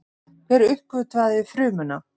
Hver uppgötvaði frumuna?